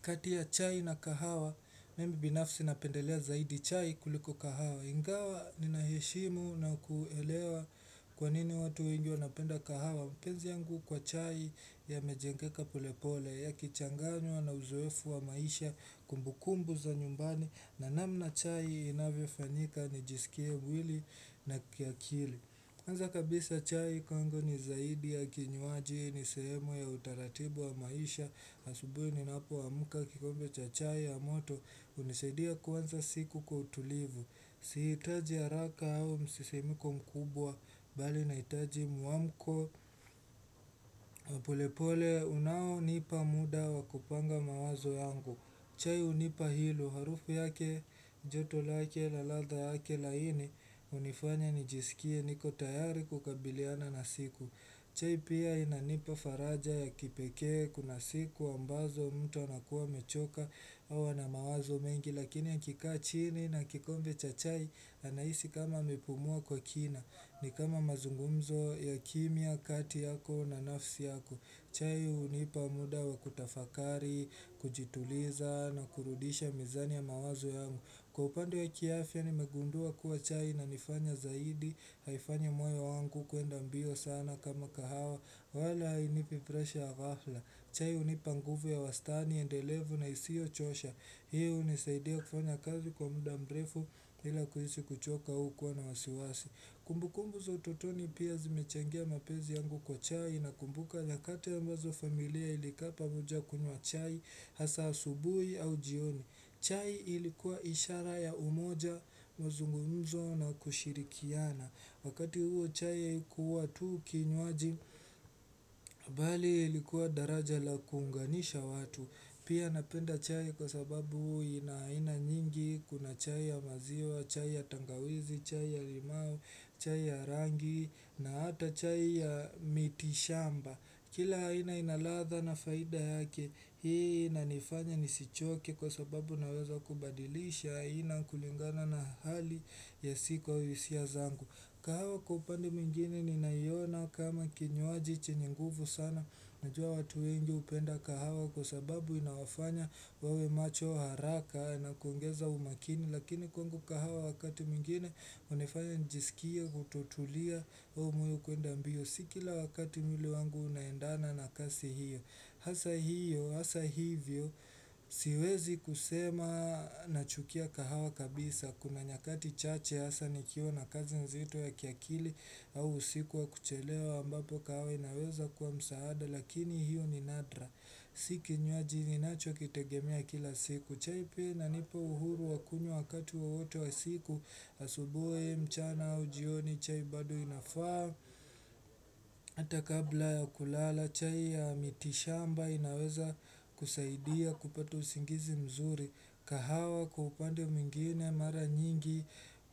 Kati ya chai na kahawa, mimi binafsi napendelea zaidi chai kuliko kahawa. Ingawa ninaheshimu na kuelewa kwa nini watu wengi wanapenda kahawa. Mapenzi yangu kwa chai yamejengeka polepole, yakichanganywa na uzoefu wa maisha kumbukumbu za nyumbani. Na namna chai inavyofanyika nijisikie mwili na kiakili. Kwanza kabisa chai kwanza ni zaidi ya kinywaji ni sehemu ya utaratibu wa maisha Asubuhi ninapoamka kikombe cha chai ya moto hunisaidia kuanza siku kwa utulivu Sihitaji haraka au msisimko mkubwa bali naitaji mwamko polepole unaonipa muda wa kupanga mawazo yangu chai hunipa hilo harufu yake joto lake na ladha yake laini hunifanya nijisikie niko tayari kukabiliana na siku chai pia inanipa faraja ya kipekee kuna siku ambazo mtu anakuwa amechoka huwa na mawazo mengi lakini akikaa chini na kikombe cha chai anahisi kama amepumua kwa kina ni kama mazungumzo ya kimya kati yako na nafsi yako chai hunipa muda wa kutafakari, kujituliza na kurudisha mizani ya mawazo yangu Kwa upande wa kiafya nimegundua kuwa chai inanifanya zaidi, haifanyi moyo wangu kuenda mbio sana kama kahawa, wala hainipi presha ya ghafla. Chai hunipa nguvu ya wastani, endelevu na isiochosha. Hii hunisaidia kufanya kazi kwa muda mrefu ila kuhisi kuchoka hukuwa na wasiwasi. Kumbukumbu za utotoni pia zimechangia mapenzi yangu kwa chai nakumbuka nyakati ambazo familia ilikaa pamoja kunywa chai hasa asubui au jioni. Chai ilikuwa ishara ya umoja, mzungumzo na kushirikiana. Wakati huo chai haikuwa tu kinywaji, bali ilikuwa daraja la kuunganisha watu. Pia napenda chai kwa sababu ina aina nyingi kuna chai ya maziwa, chai ya tangawizi, chai ya limau, chai ya rangi na hata chai ya mitishamba Kila aina ina ladha na faida yake hii inanifanya nisichoke kwa sababu naweza kubadilisha aina kulingana na hali yasiko hisia zangu kahawa kwa upande mwengine ninaiona kama kinywaji chenye nguvu sana Najua watu wengi hupenda kahawa kwa sababu inawafanya wawe macho haraka na kuongeza umakini Lakini kwangu kahawa wakati mwengine hunifanya nijisikie kutotulia au moyo kuenda mbio Si kila wakati mwili wangu unaendana na kasi hiyo Hasa hiyo, hasa hivyo, siwezi kusema nachukia kahawa kabisa Kuna nyakati chache hasa nikiwa na kazi nzito ya kiakili au usiku wa kuchelewa ambapo kahawa inaweza kuwa msaada lakini hiyo ni nadra Si kinywaji ninachokitegemea kila siku chai pia inanipa uhuru wa kunywa wakati wowote wa siku asubui au mchana au jioni chai bado inafaa Hata kabla ya kulala chai ya mitishamba inaweza kusaidia kupata usingizi mzuri kahawa kwa upande mwingine mara nyingi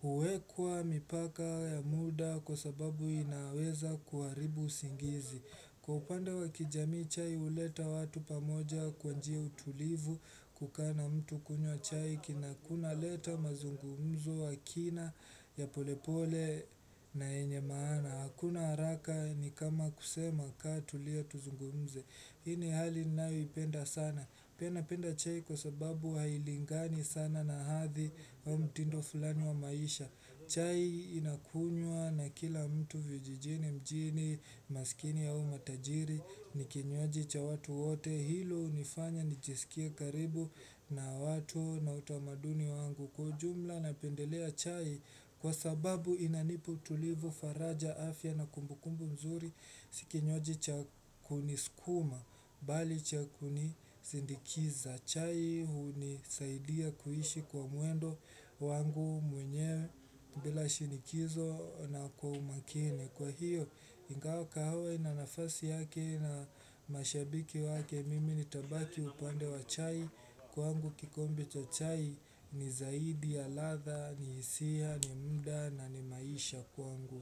huwekwa mipaka ya muda kwa sababu inaweza kuharibu usingizi. Kwa upande wa kijamii chai huleta watu pamoja kwa njia ya utulivu kukaa na mtu kunywa chai kina kunaleta mazungumzo wa kina ya polepole na yenye maana. Na hakuna haraka ni kama kusema kaa tulia tuzungumze. Hii ni hali ninaoipenda sana. Pia napenda chai kwa sababu hailingani sana na hathi au mtindo fulani wa maisha. Chai inakunywa na kila mtu vijijini mjini, masikini au matajiri, ni kinywaji cha watu wote. Hilo hunifanya nijisikie karibu na watu na utamaduni wangu kwa ujumla napendelea chai. Kwa sababu inanipu utulivu faraja afya na kumbukumbu mzuri si kinywaji cha kuniskuma bali cha kunisindikiza chai hunisaidia kuishi kwa mwendo wangu mwenyewe bila shinikizo na kwa umakini Kwa hiyo ingawa kahawa ina nafasi yake na mashabiki wake mimi nitabaki upande wa chai kwangu kikombe cha chai ni zaidi ya ladha hisia ni mda na ni maisha kwangu.